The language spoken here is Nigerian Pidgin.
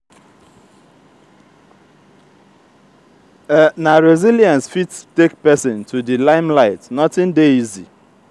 na resilience fit take pesin to di limelight nothing dey easy.